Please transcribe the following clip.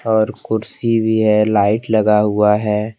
और कुर्सी भी है लाइट लगा हुआ है।